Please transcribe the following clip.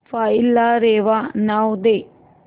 file ला रेवा नाव दे